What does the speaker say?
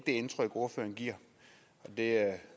det indtryk ordføreren giver og det